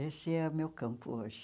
Esse é o meu campo hoje.